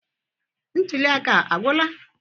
Ntuli aka a agwụla?